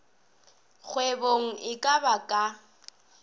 kgwebong e ka ba ka